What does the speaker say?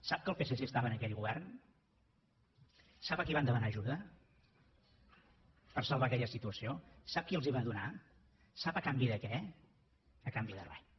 sap que el psc estava en aquell govern sap a qui van demanar ajuda per salvar aquella situació sap qui els la va donar sap a canvi de què a canvi de res